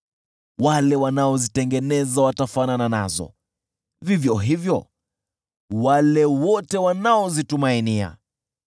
Wale wanaozitengeneza watafanana nazo, vivyo hivyo wale wote wanaozitumainia.